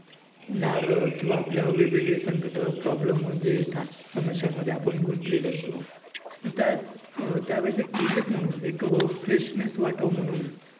नारळ किंवा आपल्यावर वेगवेगळे संकट problem जे येतात, समस्यांमदे आपण गुंतलेलो असतो तर त्या वेळेची क्लीनिक म्हणून एक फ्रेशनेस वाटावं म्हणून